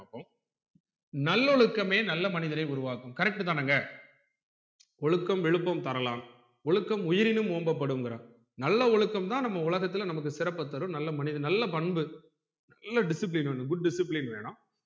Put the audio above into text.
நல்லொழுக்கமே நல்ல மனிதரை உருவாக்கும் correct தானங்க ஒழுக்கம் விழுப்பம் தரலாம் ஒழுக்கம் உயிரினும் ஓம்பப் படுங்குறான் நல்ல ஒழுக்கம் தான் நம்ம உலகத்துல நமக்கு சிறப்ப தரும் நல்ல மனிதர் நல்ல பண்பு நல்ல discipline வேணும் good discipline வேணும்